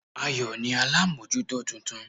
Ayò ni alámójútó titun